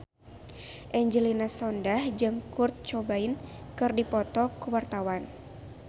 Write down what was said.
Angelina Sondakh jeung Kurt Cobain keur dipoto ku wartawan